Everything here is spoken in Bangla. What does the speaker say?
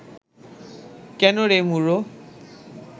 কেন রে মূঢ়